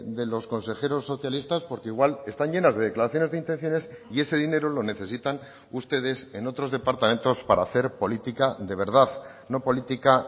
de los consejeros socialistas porque igual están llenas de declaraciones de intenciones y ese dinero lo necesitan ustedes en otros departamentos para hacer política de verdad no política